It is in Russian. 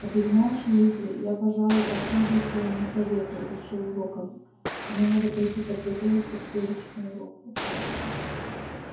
а ты знаешь уизли я пожалуй последую твоему совету решил локонс мне надо пойти подготовиться к следующему уроку